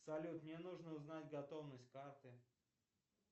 салют мне нужно узнать готовность карты